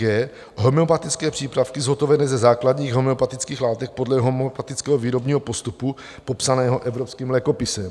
g) homeopatické přípravky zhotovené ze základních homeopatických látek podle homeopatického výrobního postupu popsaného evropským lékopisem.